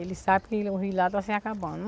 Ele sabe que o Rio lá está se acabando.